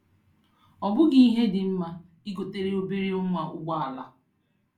Ọbughi ihe dị mma, I gotere obere nwa ụgbọ ala.